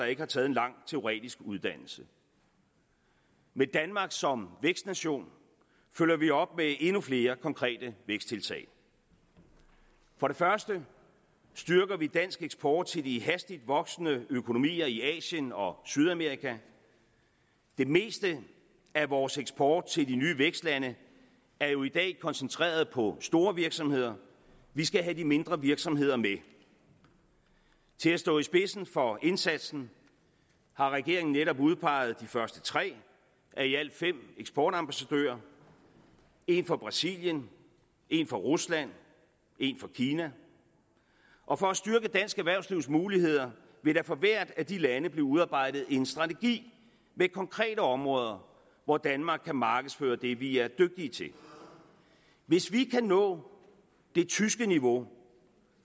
ikke har taget en lang teoretisk uddannelse med danmark som vækstnation følger vi op med endnu flere konkrete væksttiltag for det første styrker vi dansk eksport til de hastigt voksende økonomier i asien og sydamerika det meste af vores eksport til de nye vækstlande er jo i dag koncentreret på store virksomheder vi skal have de mindre virksomheder med til at stå i spidsen for indsatsen har regeringen netop udpeget de første tre af i alt fem eksportambassadører en for brasilien en for rusland en for kina og for at styrke dansk erhvervslivs muligheder vil der for hvert af de lande blive udarbejdet en strategi med konkrete områder hvor danmark kan markedsføre det vi er dygtige til hvis vi kan nå det tyske niveau